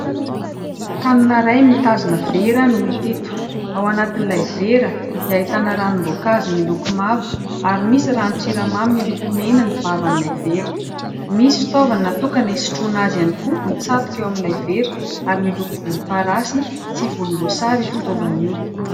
Tanana iray mitazona vera no hita eto. Ao anatin'ilay vera dia ahitana ranom-boankazo miloko mavo, ary misy ranon-tsiramamy miloko mena ny vavan'ilay vera. Misy fitaovana natokana isitroana azy ihany koa mitsatoka ao amin'ilay vera, ary miloko volomparasy sy volomboasary io fitaovana io.